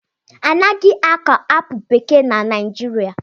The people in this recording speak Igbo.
Anaghị akọ apụl bekee na Naijiria